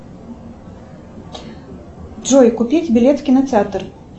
джой купить билет в кинотеатр